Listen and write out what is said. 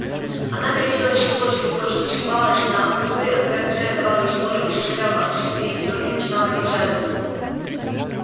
она горячилась все больше и больше взвивалась на дыбы а когда хозяин давал ей шпоры и заставлял опустить передние ноги начинала бить задом